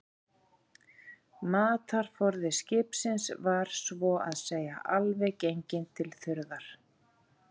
Matarforði skipsins var svo að segja alveg genginn til þurrðar.